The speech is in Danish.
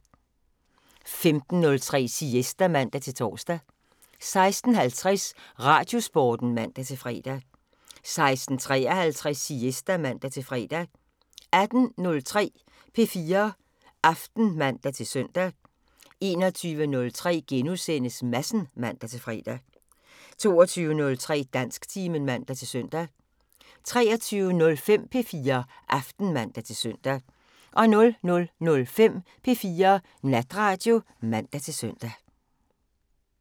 15:03: Siesta (man-tor) 16:50: Radiosporten (man-fre) 16:53: Siesta (man-fre) 18:03: P4 Aften (man-søn) 21:03: Madsen *(man-fre) 22:03: Dansktimen (man-søn) 23:05: P4 Aften (man-søn) 00:05: P4 Natradio (man-søn)